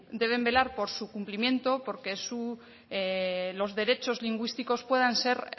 deben velar por su cumplimiento por que los derechos lingüísticos puedan ser